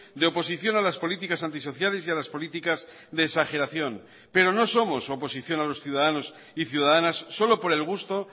de oposición a las políticas antisociales y a las políticas de exageración pero no somos oposición a los ciudadanos y ciudadanas solo por el gusto